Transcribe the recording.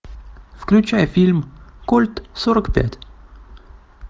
включай фильм кольт сорок пять